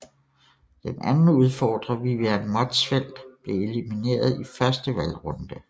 Den anden udfordrer Vivian Motzfeldt blev elimineret i første valgrunde